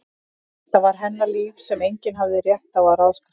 Þetta var hennar líf sem enginn hafði rétt á að ráðskast með.